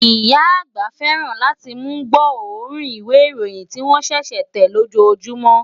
Ìyá àgbà fẹ́ràn láti mú gbọ́ òórùn ìwé ìròyìn tí wón ṣẹ̀ṣẹ̀ tẹ̀ lójoójúmọ